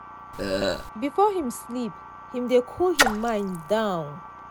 before him sleep him dey cool him mind down